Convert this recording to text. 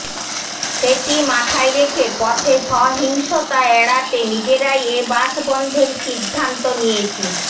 সেটি মাথায় রেখে পথে সহিংসতা এড়াতে নিজেরাই এ বাস বন্ধের সিদ্ধান্ত নিয়েছি